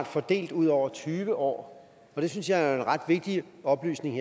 fordelt ud over tyve år det synes jeg jo er en ret vigtig oplysning